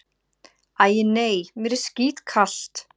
Æ, nei, mér er skítkalt